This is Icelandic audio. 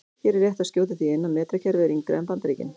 Hér er rétt að skjóta því inn að metrakerfið er yngra en Bandaríkin.